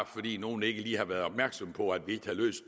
fordi nogle ikke lige har været opmærksomme på at vi ikke har løst